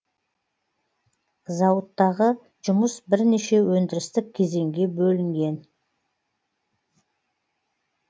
зауыттағы жұмыс бірнеше өндірістік кезеңге бөлінген